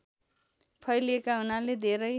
फैलिएका हुनाले धेरै